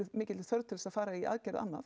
mikilli þörf til þess að fara í aðgerð annað